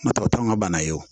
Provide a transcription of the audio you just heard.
N'o tɛ n ka bana ye